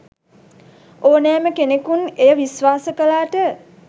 ඕනෑම කෙනෙකුන් එය විශ්වාස කලාට